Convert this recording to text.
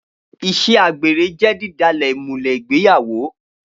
Iṣẹ àgbẹ́rẹ jẹ didàlẹ ìmúlẹ ìgbẹ́yàwó.